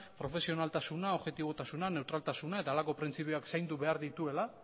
profesionaltasuna objetibotasuna neutraltasuna eta halako printzipioak zaindu behar dituela